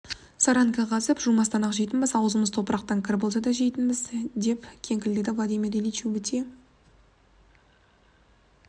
саранка қазып жумастан-ақ жейтінбіз аузымыз топырақтан кір болса да жейтінбіз деп кеңкілдеді владимир ильич өте